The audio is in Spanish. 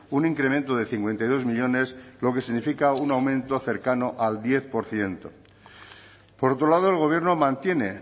un incremento de cincuenta y dos millónes lo que significa un aumento cercano al diez por ciento por otro lado el gobierno mantiene